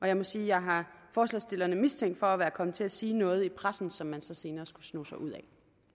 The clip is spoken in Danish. jeg må sige at jeg har forslagsstillerne mistænkt for at være kommet til at sige noget i pressen som man så senere skulle sno sig ud af